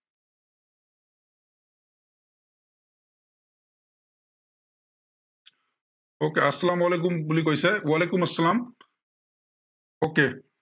okay আচালাম ৱালিকুম বুলি কৈছে, ৱালিকুম চালাম। okay